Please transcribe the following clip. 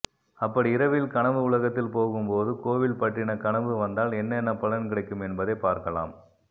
அப்படி இரவில் கனவு உலகத்தில் போகும் போது கோவில் பற்றின கனவு வந்தால் என்னென்ன பலன் கிடைக்கும் என்பதை பார்க்கலாம்